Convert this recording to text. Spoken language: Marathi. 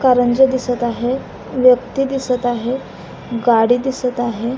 कारंज्या दिसत आहे व्यक्ती दिसत आहे गाडी दिसत आहे.